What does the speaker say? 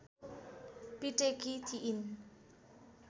पिटेकी थिइन्